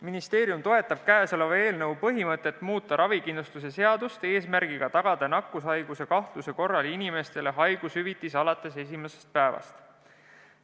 Ministeerium toetab käesoleva eelnõu põhimõtet muuta ravikindlustuse seadust eesmärgiga tagada nakkushaiguse kahtluse korral inimestele haigushüvitis alates esimesest päevast.